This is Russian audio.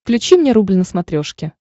включи мне рубль на смотрешке